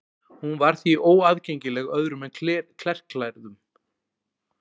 hún var því óaðgengileg öðrum en klerklærðum